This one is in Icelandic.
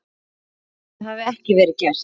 Það hafi ekki verið gert.